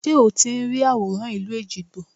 Ṣé o ti ń rí àwòrán ìlú Èjìgbò?